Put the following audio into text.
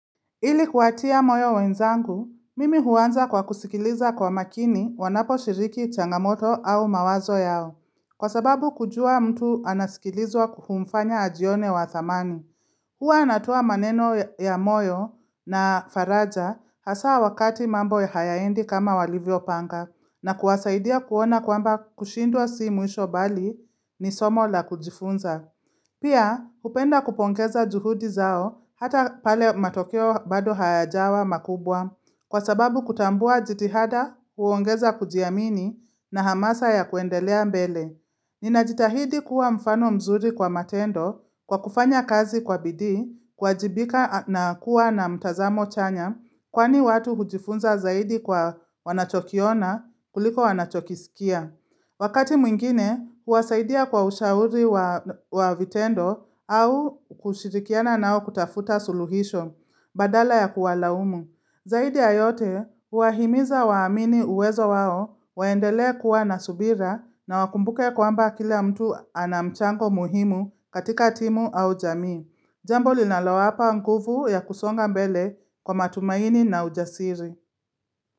Ili kuwatia moyo wenzangu, mimi huanza kwa kusikiliza kwa makini wanapo shiriki changamoto au mawazo yao. Kwa sababu kujua mtu anasikilizwa humfanya ajione wa thamani. Hua natoa maneno ya moyo na faraja hasa wakati mambo hayaendi kama walivyo panga na kuwasaidia kuona kwamba kushindwa si mwisho bali ni somo la kujifunza. Pia, hupenda kupongeza juhudi zao hata pale matokeo bado hayajawa makubwa kwa sababu kutambua jitihada huongeza kujiamini na hamasa ya kuendelea mbele. Ninajitahidi kuwa mfano mzuri kwa matendo kwa kufanya kazi kwa bidi kuwajibika na kuwa na mtazamo chanya kwani watu hujifunza zaidi kwa wanachokiona kuliko wanachokisikia. Wakati mwingine, huwasaidia kwa ushauri wa vitendo au kushirikiana nao kutafuta suluhisho, badala ya kuwa laumu. Zaidi ayote, huwahimiza waamini uwezo wao, waendele kuwa nasubira na wakumbuke kwamba kila mtu anamchango muhimu katika timu au jamii. Jambo linalowapa nguvu ya kusonga mbele kwa matumaini na ujasiri.